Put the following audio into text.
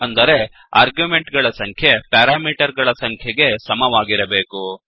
ಅಂದರೆ ಆರ್ಗ್ಯುಮೆಂಟ್ ಗಳ ಸಂಖ್ಯೆ ಪ್ಯಾರಾಮೀಟರ್ ಗಳ ಸಂಖ್ಯೆಗೆ ಸಮವಾಗಿರಬೇಕು